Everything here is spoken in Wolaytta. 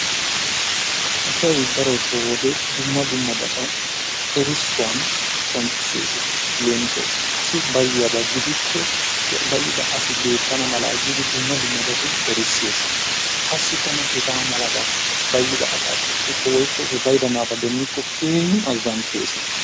Asay daroto wode dumma dummabata erissuwan qoncissesi. Leemisuwasi asi bayiyaaba gidikko he bayida asi beetana mala giidi dumma dummabatun erissees. Qassikka nu hegaa malaban bayida asaa qoppikko woykko he bayida naata demmikko keehin azantees.